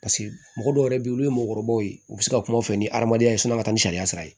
Paseke mɔgɔ dɔw yɛrɛ bɛ yen olu ye mɔgɔkɔrɔbaw ye u bɛ se ka kuma o fɛ ni adamadenya ye sɔnni ka taa ni sariya sira ye